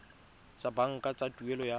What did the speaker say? tsa banka tsa tuelo ya